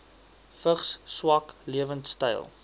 vigs swak lewensstyle